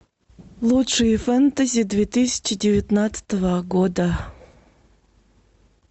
лучшие фэнтези две тысячи девятнадцатого года